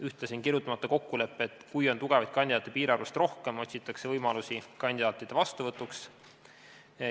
Ühtlasi on kirjutamata kokkulepe, et kui on tugevaid kandidaate piirarvust rohkem, otsitakse võimalusi kandidaatide vastuvõtuks.